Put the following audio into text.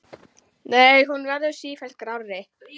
Nei, hún verður sífellt grárri.